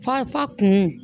Fa fa kun